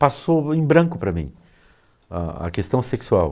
Passou em branco para mim a a questão sexual.